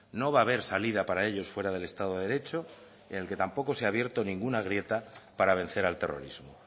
no va haber salida para ellos fuera del estado de derecho ni en el que tampoco se ha abierto ninguna grieta para vencer al terrorismo